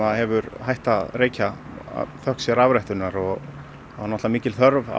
hefur hætt að reykja þökk sé rafrettunni og mikil þörf á